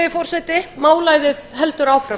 forseti málæðið heldur áfram